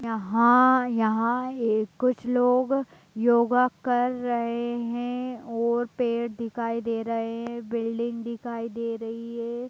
यहां यहां कुछ लोग योगा कर रहे हैं और पेड़ दिखाई दे रहे है बिल्डिंग दिखाई दे रही है।